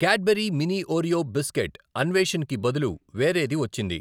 Cadbury mini Oreo biscuit Anveshan కి బదులు వేరేది వచ్చింది.